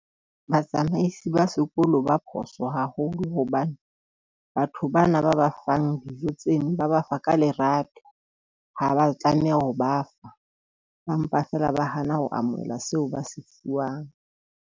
Batsamaisi ba sekolo ba phoso haholo. Hobane batho bana ba ba fang dijo tseno ba ba fa ka lerato, ha ba tlameha ho ba fa ba mpa feela ba hana ho amohela seo ba se fuwang.